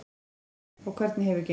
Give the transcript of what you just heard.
Freyja: Og hvernig hefur gengið?